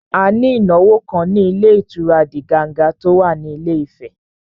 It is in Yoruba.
A ní ìnáwó kan ní ilé ìtura Diganga tó wà ní Ilé Ifẹ̀